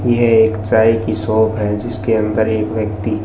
यह एक चाय की शॉप है जिसके अंदर एक व्यक्ति--